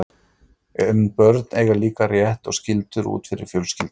En börn eiga líka rétt og skyldur út fyrir fjölskylduna.